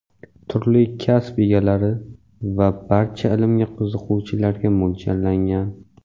turli kasb egalari va barcha ilmga qiziquvchilarga mo‘ljallangan.